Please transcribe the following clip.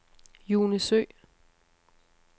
June Søe